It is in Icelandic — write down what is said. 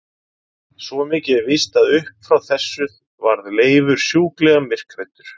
Svo mikið er víst að upp frá þessu varð Leifur sjúklega myrkhræddur.